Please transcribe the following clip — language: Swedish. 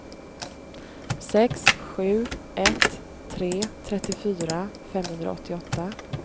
sex sju ett tre trettiofyra femhundraåttioåtta